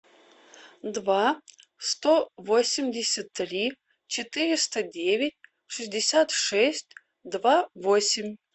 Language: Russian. два сто восемьдесят три четыреста девять шестьдесят шесть два восемь